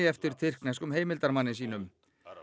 eftir tyrkneskum heimildarmanni sínum